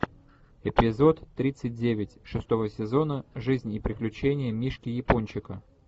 эпизод тридцать девять шестого сезона жизнь и приключения мишки япончика